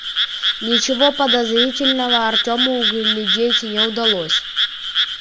ничего подозрительного артему углядеть не удалось